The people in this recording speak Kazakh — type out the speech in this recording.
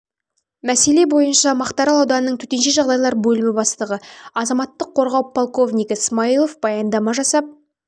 мәселе бойынша мақтарал ауданының төтенше жағдайлар бөлімі бастығы азаматтық қорғау полковнигі смаилов баяндама жасап өз